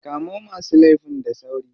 Kamo masu laifin da sauri.